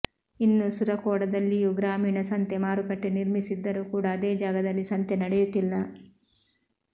ಇನ್ನು ಸುರಕೋಡದಲ್ಲಿಯೂ ಗ್ರಾಮೀಣ ಸಂತೆ ಮಾರುಕಟ್ಡೆ ನಿರ್ಮಿಸಿದ್ದರೂ ಕೂಡಾ ಅದೇ ಜಾಗೆಯಲ್ಲಿ ಸಂತೆ ನಡೆಯುತಿಲ್ಲ